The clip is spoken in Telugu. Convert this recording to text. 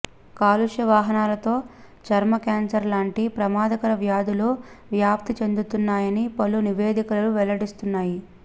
కాలుష్య వాహనాలతో చర్మ క్యాన్సర్ లాంటి ప్రమాదకర వ్యాధులు వ్యాప్తి చెందుతున్నాయని పలు నివేదికలు వెల్లడిస్తున్నాయి